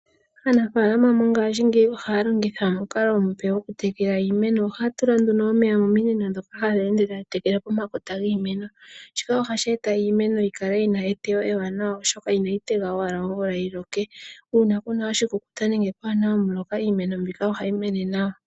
Aanafalama mongaashingeyi ohaya longitha omukalo omupe gwoku tekela iimeno. Ohaya tula nduno omeya mominino ndhoka hadhi ende tadhi tekele iimeno. Shika ohashi e ta iimeno yikale yina eteyo ewanawa, oshoka inayi tega owala omvula yiloke. Uuna kuna oshikukuta nenge kwaana omuloka, iimeno mbika ohayi mene nawa.